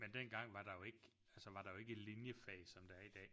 Men dengang var der jo ikke altså var der ikke linjefag som der er i dag